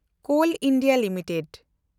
call India limited